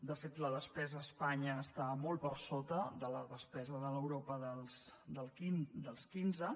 de fet la despesa a espanya està molt per sota de la despesa de l’europa dels quinze